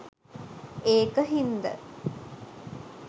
ඒක හින්ද